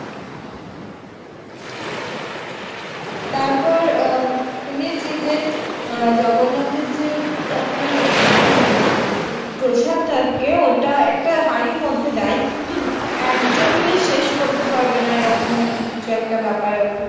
তারপর আহ উম শুনেছি যে আহ জগন্নাথের যে আপনার আহ কী বলে ওটাকে প্রসাদ থাকে ওটা একটা হাড়ির মধ্যে দেই কিন্তু একজন মিলে শেষ করতে পারবে না এরকম নাকী কিছু একটা ব্যাপার আছে